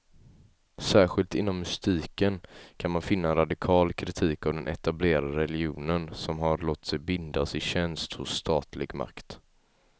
Särskilt inom mystiken kan man finna en radikal kritik av den etablerade religionen, som har låtit sig bindas i tjänst hos statlig makt.